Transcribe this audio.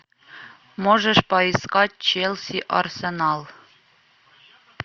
можешь поискать челси арсенал